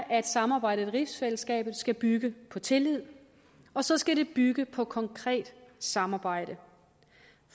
at samarbejdet i rigsfællesskabet skal bygge på tillid og så skal det bygge på konkret samarbejde